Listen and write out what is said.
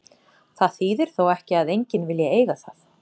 Það þýðir þó ekki að enginn vilji eiga það.